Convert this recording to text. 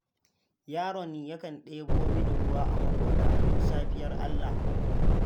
Yaron yakan ɗebo mini ruwa a maƙota a duk safiyar Allah.